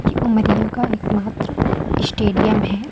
ये उमरिया का एक मात्र स्टेडियम है।